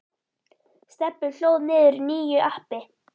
Stebbi hlóð niður nýju appi.